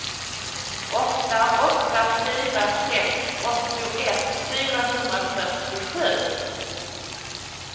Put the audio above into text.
åtta åtta fyra sex åttioett fyrahundrafyrtiosju